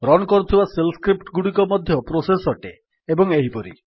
run କରୁଥିବା shell script ଗୁଡିକ ମଧ୍ୟ ପ୍ରୋସେସ୍ ଅଟେ ଏବଂ ଏହିପରି